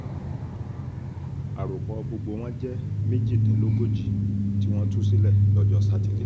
àròpọ̀ gbogbo wọn jẹ́ méjìdínlógójì tí wọ́n tú sílẹ̀ lọ́jọ́ sátidé